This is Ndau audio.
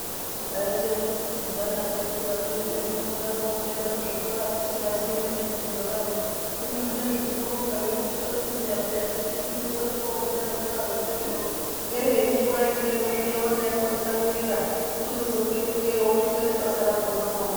Taiita kukikitidzana teikura kweduyo kurikudaroko kuenda kuzvikora tisingaziyi nebiningidzo raro hino zvinezvi tinobonga ngekuti tozviziva peya kuti biningidzo rekofunda zvikora zvemberiyo ngerenyi waendeyo zviya womaitotsamwirira unochizopetukeyo wotoita nebasa rakhona mumaoko.